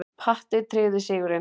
Patti tryggði sigurinn.